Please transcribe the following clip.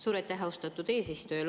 Suur aitäh, austatud eesistuja!